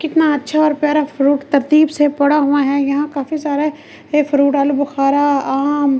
कितना अच्छा और प्यारा फ्रूट तरतीब से पड़ा हुआ है यहां काफी सारे ये फ्रूट आलू बुखारा आम --